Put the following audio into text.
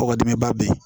Kɔkɔ dimi ba be yen